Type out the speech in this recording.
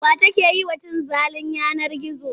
Wa take yi wa cin zalin yanar gizo?